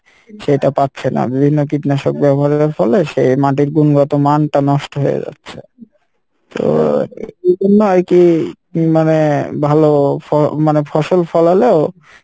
সেইটা পাচ্ছে না বিভিন্ন কীটনাশক ব্যবহারের ফলে সে মাটির গুন গুলা তো মান টা নষ্ট হয়ে যাচ্ছে তো এইজন্য আরকি মানে ভালো ফ মানে ফসল ফলালো,